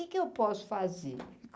O que é que eu posso fazer?